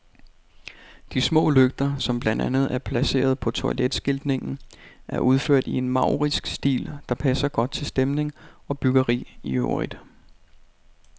De små lygter, som blandt andet er placeret på toiletskiltningen, er udført i en maurisk stil, der passer godt til stemning og byggeri i øvrigt.